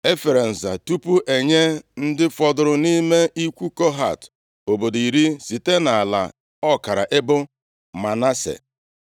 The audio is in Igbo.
E fere nza tupu e nye ndị fọdụrụ nʼime ikwu Kohat obodo iri site nʼala ọkara ebo Manase.